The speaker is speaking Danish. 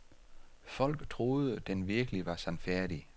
Folk troede, den virkelig var sandfærdig.